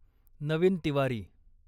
Naveen Tiwari